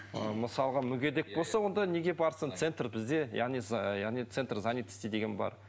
мысалға мүгедек болса онда неге барсын центр бізде яғни яғни центр занятости деген бар